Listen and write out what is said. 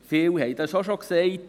Viele haben es schon gesagt: